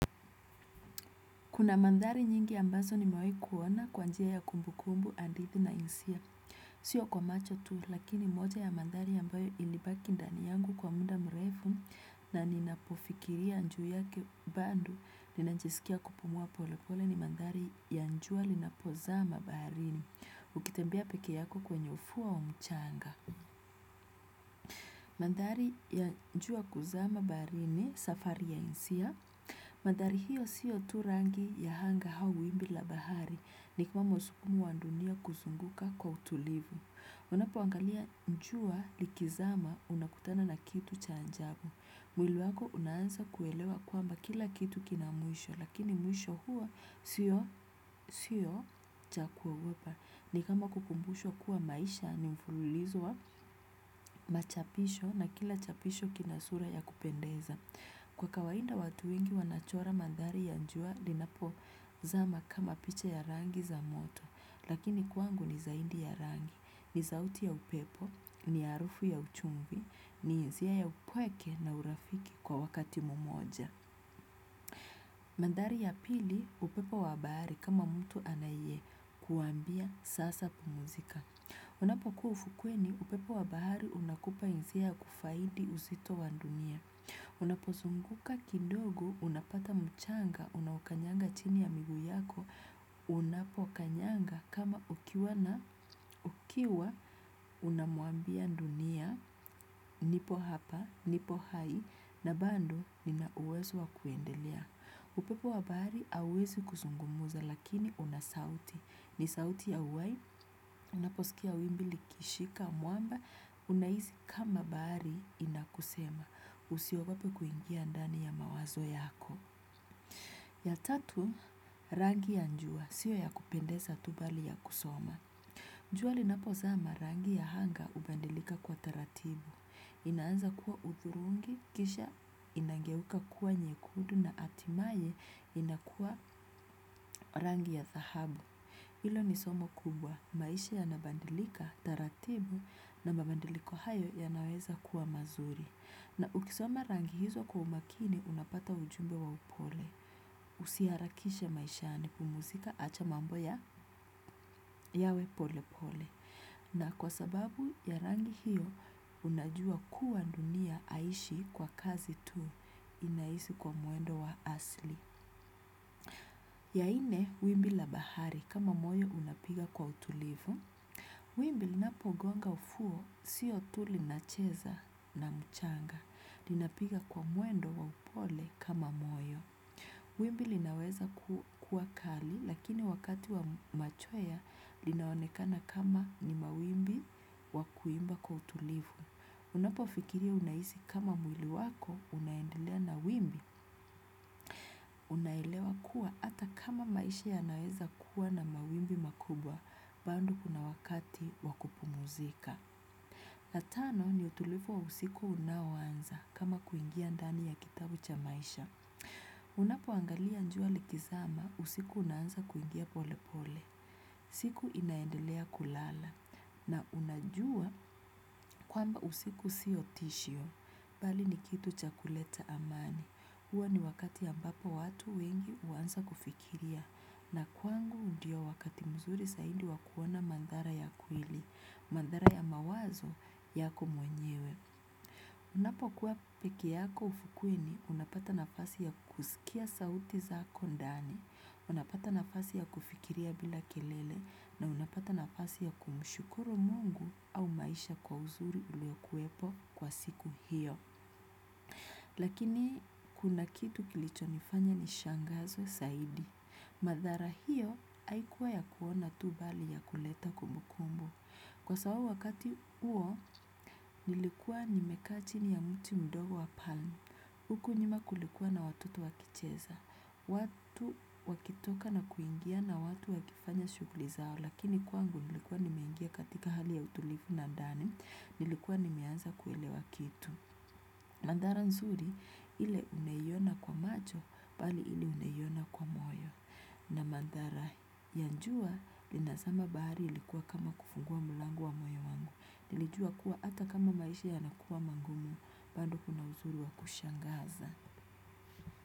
Kuna mandari nyingi ambazo ni mawei kuona kwa njia ya kumbu kumbu andithi na insia. Sio kwa macho tu lakini moja ya maandhari ambayo ilibaki ndani yangu kwa muda mrefu na ninapo fikiria juu yake bado ninajisikia kupumua poleploe ni maandhari ya jua linapozama baharini. Ukitembea peke yako kwenye ufuo wa mchanga. Maandhari ya jua kuzama baharini safari ya hisia. Maadhari hiyo siyo tu rangi ya anga au wimbi la bahari ni kuwa msukumo wa dunia kuzunguka kwa utulivu. Unapoangalia jua likizama unakutana na kitu cha ajabu. Mwili wako unaanza kuelewa kwamba kila kitu kina mwisho lakini mwisho hua sio cha kuogopa. Ni kama kukumbushwa kuwa maisha ni mfululizo wa machapisho na kila chapisho kina sura ya kupendeza. Kwa kawaida watu wengi wanachora maandhari ya jua linapo zama kama picha ya rangi za moto, lakini kwangu ni zaidi ya rangi, ni sauti ya upepo, ni harufu ya uchumvi, ni hisia ya upweke na urafiki kwa wakati mmoja. Maandhari ya pili, upepo wa bahari kama mtu anae kuambia sasa pumzika. Unapokuwa ufukweni, upepo wabahari unakupa hisia ya kufaidi uzito wa dunia. Unapozunguka kidogo, unapata mchanga, unaokanyanga chini ya miguu yako, unapokanyanga kama ukiwa na ukiwa unamuambia dunia, nipo hapa, nipo hai, na bado nina uwezo wa kuendelea. Upepo wa bahari hauezi kuzungumza lakini una sauti. Ni sauti ya uhai, unaposikia wimbi likishika, mwamba, unahisi kama bahari inakusema. Usiogope kuingia ndani ya mawazo yako. Ya tatu, rangi ya jua, sio ya kupendeza tu bali ya kusoma. Jua linapozama rangi ya anga hubadilika kwa taratibu. Inaanza kuwa hudhurungi, kisha inangeuka kuwa nyekundu na hatimaye inakuwa rangi ya dhahabu. Hilo ni somo kubwa, maisha yanabadilika, taratibu na mabadiliko hayo yanaweza kuwa mazuri. Na ukisoma rangi hizo kwa umakini, unapata ujumbe wa upole. Usi harakishe maishani pumzika acha mambo ya yawe pole pole. Na kwa sababu ya rangi hiyo unajua kuwa dunia hai ishi kwa kasi tu inaishi kwa mwendo wa asili. Ya nne wimbi la bahari kama moyo unapiga kwa utulivu. Wimbi linapogonga ufuo sio tu linacheza na mchanga linapiga kwa mwendo wa upole kama moyo. Wimbi linaweza kuwa kali lakini wakati wa machwea linaonekana kama ni mawimbi wa kuimba kwa utulivu. Unapo fikiria unahisi kama mwili wako unaendelea na wimbi unaelewa kuwa hata kama maisha yanaweza kuwa na mawimbi makubwa bado kuna wakati wa kupumzika. La tano ni utulivu wa usiku unaoanza kama kuingia ndani ya kitabu cha maisha. Unapo angalia jua likizama usiku unaanza kuingia pole pole. Siku inaendelea kulala. Na unajua kwamba usiku sio tishio. Bali ni kitu chakuleta amani. Huwa ni wakati ambapo watu wengi huanza kufikiria. Na kwangu ndio wakati mzuri zaidi wa kuona madhara ya kweli. Madhara ya mawazo yako mwenyewe. Unapo kuwa peke yako ufukweni unapata nafasi ya kusikia sauti zako ndani, unapata nafasi ya kufikiria bila kelele na unapata nafasi ya kumshukuru mungu au maisha kwa uzuri ulio kuwepo kwa siku hiyo. Lakini kuna kitu kilichonifanya nishangazwe zaidi. Madhara hiyo haikuwa ya kuona tu bali ya kuleta kumbu kumbu. Kwa sababu wakati huo nilikuwa nimekaa chini ya mti mdogo wa huku nyuma kulikuwa na watoto wakicheza. Watu wakitoka na kuingia na watu wakifanya shughuli zao. Lakini kwangu nilikuwa nimeingia katika hali ya utulivu na ndani. Nilikuwa nimeanza kuelewa kitu. Maandhara nzuri ile unaiona kwa macho bali ile unaiona kwa moyo. Na maandhara ya jua lina zama bahari ilikuwa kama kufungua mlango wa moyo wangu. Nilijua kuwa hata kama maisha yanakuwa magumu bado kuna uzuri wa kushangaza.